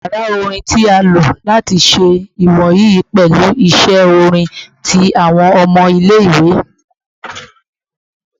Yara orin ti a lo lati ṣe iwoyi pẹlu iṣe orin ti awọn ọmọ ile-iwe